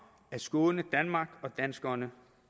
at skåne danmark og danskerne